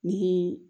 Ni